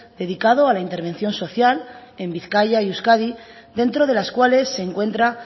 dedicado a intervención social en bizkaia y euskadi dentro de las cuales se encuentra